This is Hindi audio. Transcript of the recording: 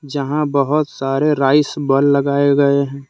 जहां बहोत सारे राइस बल लगाए गए हैं।